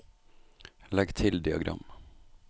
legg til diagram